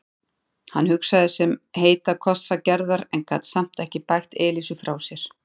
Hann hugsaði um heita kossa Gerðar en gat samt ekki bægt Elísu frá sér.